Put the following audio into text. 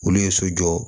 Olu ye so jɔ